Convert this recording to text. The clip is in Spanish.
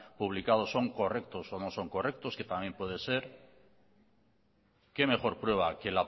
publicado son correctos o no son correctos que también puede ser qué mejor prueba